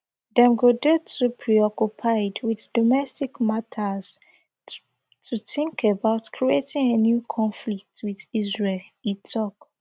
dem go dey too preoccupied with domestic matters to think about creating a new conflict with israel e tok